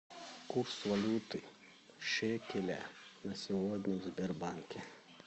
курс валюты шекеля на сегодня в сбербанке